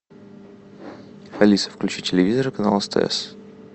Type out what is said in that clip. алиса включи телевизор канал стс